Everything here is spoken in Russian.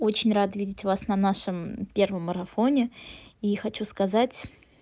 очень рада видеть вас на нашем первом марафоне и хочу сказать